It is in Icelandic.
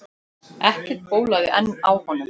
Ekkert bólaði enn á honum.